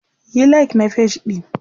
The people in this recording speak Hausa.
Yi like na page ɗin!.